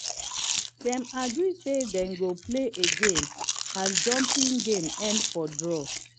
dem been agree say they go play again as jumping game end for draw